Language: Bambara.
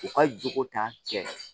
U ka jogo ta cɛ